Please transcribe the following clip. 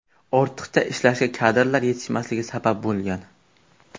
Ortiqcha ishlashga kadrlar yetishmasligi sabab bo‘lgan.